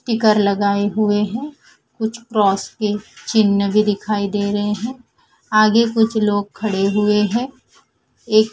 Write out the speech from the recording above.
sticker लगाए हुए हैं कुछ क्रॉस के चिन्ह भी दिखाई दे रहे हैं आगे कुछ लोग खड़े हुए हैं एक--